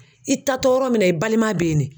I taatɔ yɔrɔ min na i balima bɛ yen ne.